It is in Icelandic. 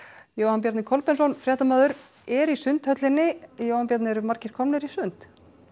Jóhann Bjarni Kolbeinsson fréttamaður er í Sundhöllinni Jóhann Bjarni eru margir komnir í sund